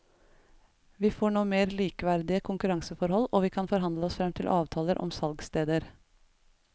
Vi får nå mer likeverdige konkurranseforhold og vi kan forhandle oss frem til avtaler om salgssteder.